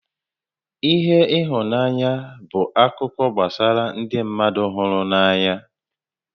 ihe ihunanya bụ akụkọ gbasara ndị mmadụ hụrụ n'anya